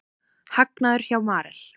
Hagnaður hjá Marel